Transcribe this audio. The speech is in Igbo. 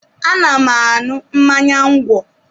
Ana m aṅụ mmanya ńgwọ